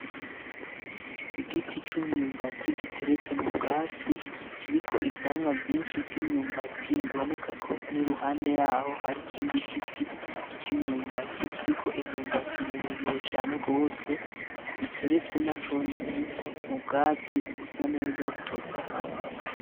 Igiti c'imyumbati giteretse mu bwatsi, kiriko ivyamwa vyinshi vy'imyumbati. Biboneka ko n'iruhande yaho hari ikindi giti c'imyumbati, kiriko imyumbati miremire cane rwose. Biteretse na conyene mu bwatsi busa neza butotahaye.